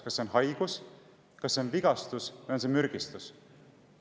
Kas see on haigus, kas see on vigastus või on see mürgistus?